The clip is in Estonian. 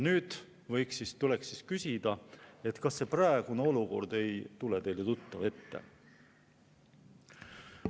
Nüüd tuleks küsida, kas see praegune olukord ei tule teile tuttav ette.